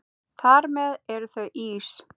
Þar með eru þau ís